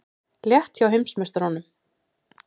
Létt hjá heimsmeisturunum